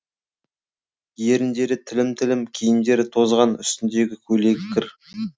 еріндері тілім тілім киімдері тозған үстіндегі көйлегі кір